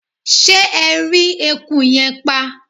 ṣé ẹ rí eku yẹn pa?